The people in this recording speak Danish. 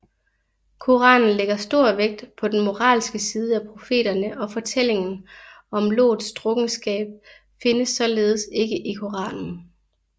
Koranen lægger stor vægt på den moralske side af profeterne og fortællingen om Lots drukkenskab findes således ikke i Koranen